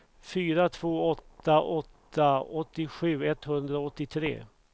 fyra två åtta åtta åttiosju etthundraåttiotre